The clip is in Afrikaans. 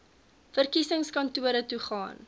verkiesingskantoor toe gaan